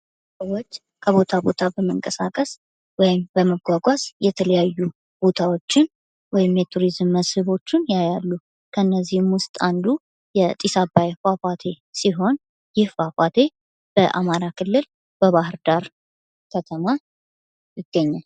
ሰዎች ከቦታ ቦታ በመንቀሳቀስ ወይም በመጓጓዝ የተለያዩ ቦታዎችን ወይም የቱሪዝም መስህቦችን ያያሉ ። ከእነሱ ውስጥ አንዱ የጢስ አባይ ፏፏቴ ሲሆን ይህ ፏፏቴ በአማራ ክልል በባህር ዳር ከተማ ይገኛል ።